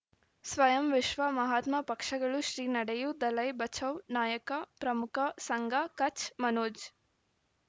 ಸ್ವಯಂ ವಿಶ್ವ ಮಹಾತ್ಮ ಪಕ್ಷಗಳು ಶ್ರೀ ನಡೆಯೂ ದಲೈ ಬಚೌ ನಾಯಕ ಪ್ರಮುಖ ಸಂಘ ಕಚ್ ಮನೋಜ್